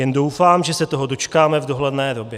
Jen doufám, že se toho dočkáme v dohledné době.